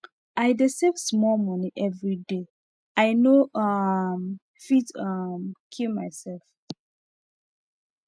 i dey save small money everyday i no um fit um kill myself